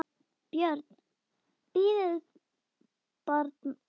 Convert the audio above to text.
BJÖRN: Bíðið bara!